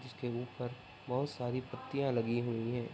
जिसके ऊपर बहुत सारी पट्टियां लगी हुई हैं।